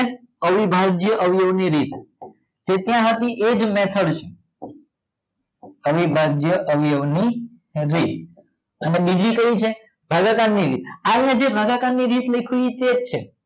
અવીભાજ્ય અવયવો ની રીત તે કયા હતી એજ મેથડ છે અવીભાજ્ય અવયવો ની રીત હવે બીજી કઈ છે ભાગાકાર ની રીત આમાં જે ભાગાકાર ની રીત લખી એજ છે